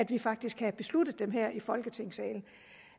vi faktisk havde besluttet dem her i folketingssalen